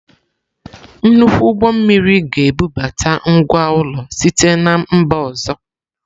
Nnukwu ụgbọ mmiri ga-ebubata ngwá ụlọ site na mba ọzọ.